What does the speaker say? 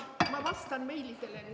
Ma vastan meilidele.